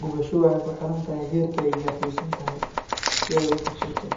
Gubasho waxay ku xiran tahay heerka ay gaarsiisan tahay si ay u bogsato.